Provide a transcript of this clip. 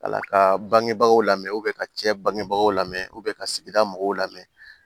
Ala ka bangebagaw lamɛn ka cɛ bangebagaw lamɛn ka sigida mɔgɔw lamɛn